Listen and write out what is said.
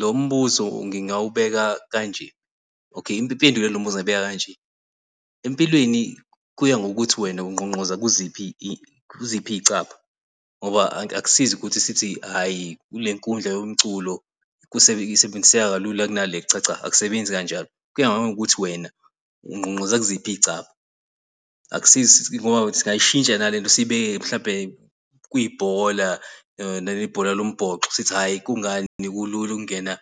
Lo mbuzo ngingawubeka kanje. Okay, Impendulo yalo mbuzo ngingayibeka kanje empilweni kuya ngokuthi wena ungqongqoza kuziphi kuziphi icabha. Ngoba akusizi ukuthi sithi hhayi kule nkundla yomculo isebenziseka kalula kunale. Cha cha asisebenzi kanjalo kuya nangokuthi wena ungqongqoza kuziphi iy'cabha. Akusizi ngoba singayishintsha nalento sibeke-ke mhlawumbe kuyibhola naleli bhola lombhoxo sithi hhayi, kungani kulula ukungena